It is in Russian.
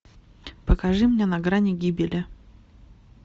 покажи мне на грани гибели